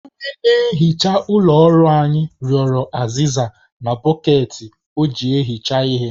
Onye na-ehicha ụlọ ọrụ anyị rịọrọ azịza na bọkeeti o ji ehicha ihe